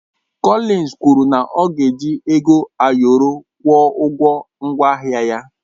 Cọlins kwụrụ na ọ ga-eji ego ayọrọ kwụọ ụgwọ ngwaahịa ya.